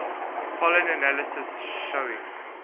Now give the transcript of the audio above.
pollen analysis showing